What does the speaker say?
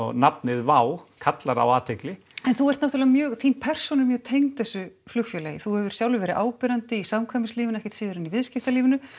nafnið kallar á athygli en þú ert náttúrulega mjög þín persóna er mjög tengd þessu flugfélagi þú hefur sjálfur verið áberandi í ekkert síður en í viðskiptalífinu